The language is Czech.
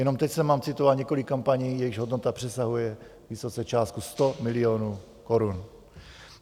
Jenom teď jsem vám citoval několik kampaní, jejichž hodnota přesahuje vysoce částku 100 milionů korun.